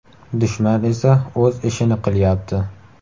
Dushman esa o‘z ishini qilyapti.